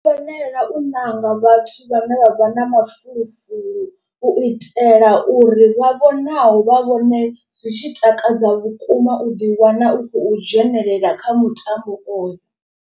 Ndi fanela u ṋanga vhathu vhane vha vha na mafulufulu u itela uri vha vhonaho vha vhone zwi tshi takadza vhukuma u ḓi wana u khou dzhenelela kha mutambo oyo.